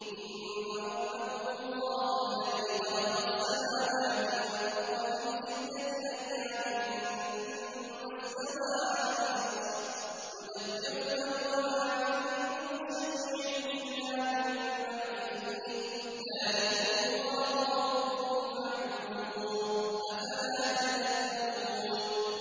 إِنَّ رَبَّكُمُ اللَّهُ الَّذِي خَلَقَ السَّمَاوَاتِ وَالْأَرْضَ فِي سِتَّةِ أَيَّامٍ ثُمَّ اسْتَوَىٰ عَلَى الْعَرْشِ ۖ يُدَبِّرُ الْأَمْرَ ۖ مَا مِن شَفِيعٍ إِلَّا مِن بَعْدِ إِذْنِهِ ۚ ذَٰلِكُمُ اللَّهُ رَبُّكُمْ فَاعْبُدُوهُ ۚ أَفَلَا تَذَكَّرُونَ